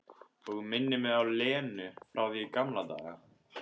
Og minnir á Lenu frá því í gamla daga.